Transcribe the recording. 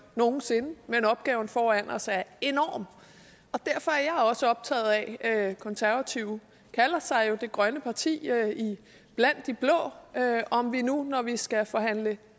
nogen sinde men opgaven foran os er enorm og derfor er jeg også optaget af konservative kalder sig jo det grønne parti blandt de blå om vi nu når vi skal forhandle